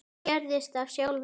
Það gerðist af sjálfu sér.